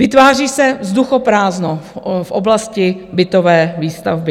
Vytváří se vzduchoprázdno v oblasti bytové výstavby.